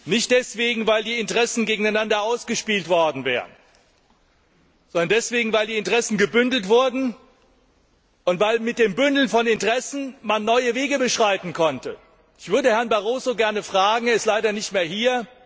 Nicht deswegen, weil die Interessen gegeneinander ausgespielt worden wären, sondern weil die Interessen gebündelt wurden und weil man mit dem Bündeln von Interessen neue Wege beschreiten konnte. Ich hätte Herrn Barroso gerne gefragt er ist leider nicht mehr hier.